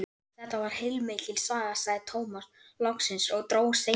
Þetta var heilmikil saga, sagði Tómas loksins og dró seiminn.